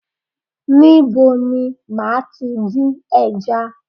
Níbo ni màá tí dín ẹja?